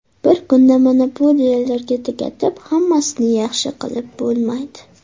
Bir kunda monopoliyalarga tugatib, hammasini yaxshi qilib bo‘lmaydi.